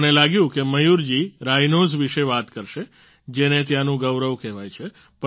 મને લાગ્યું કે મયૂર જી રાઇનોસ વિશે વાત કરશે જેને ત્યાંનું ગૌરવ કહેવાય છે